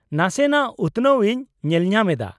-ᱱᱟᱥᱮᱱᱟᱜ ᱩᱛᱱᱟᱹᱣ ᱤᱧ ᱧᱮᱞᱧᱟᱢ ᱮᱫᱟ ᱾